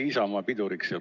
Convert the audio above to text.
Oli Isamaa piduriks või?